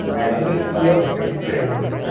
ಅಂದ್ರೆ ನಿಮ್ದು ಯಾವ್ದು ಕೆಲ್ಸ ಯಾವ್ದು ನಿಮ್ದು?